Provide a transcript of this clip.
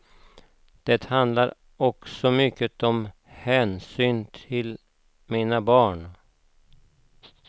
Det handlar också mycket om hänsynen till mina barn.